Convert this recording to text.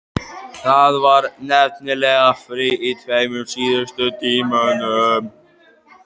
Það var nefnilega frí í tveimur síðustu tímunum.